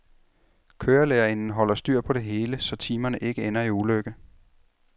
Kørelærerinden holder styr på det hele, så timerne ikke ender i ulykke.